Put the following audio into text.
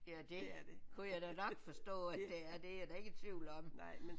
Ja det kunne jeg da nok forstå at det at det er jeg da ikke i tvivl om